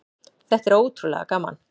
Þetta er ótrúlega gaman.